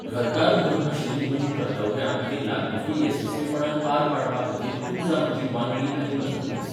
घरकार म्हुणून आशिल्लीं म्हजीं कर्तव्यां आनी लागणुकी येसस्वीपणान पार पाडपाखातीर तूं जा म्हजी वांगडी आनी मजतनीस.